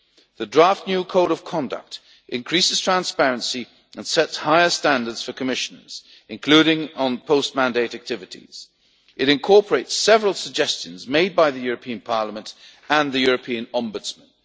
The draft new code of conduct increases transparency and sets higher standards for Commissioners, including on post mandate activities. It incorporates several suggestions made by the European Parliament and the European Ombudsman.